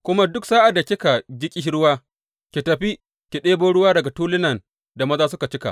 Kuma duk sa’ad da kika ji ƙishirwa, ki tafi ki ɗebo ruwa daga tulunan da mazan suka cika.